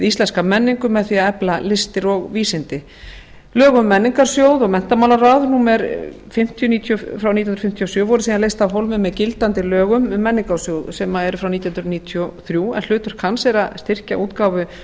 íslenska menningu með því að efla listir og vísindi lög um menningarsjóð og menntamálaráð númer fimmtíu nítján hundruð fimmtíu og sjö voru síðan leyst af hólmi með gildandi lögum um menningarsjóð sem eru frá nítján hundruð níutíu og þrjú en hlutverk hans er að styrkja útgáfu